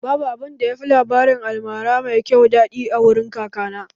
Babu abunda yafi labarin almara mai kyau daɗi a wurin kakana